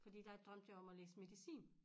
Fordi der drømte jeg om at læse medicin